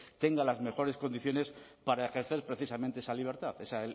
tenga las mejores condiciones para ejercer precisamente esa libertad esa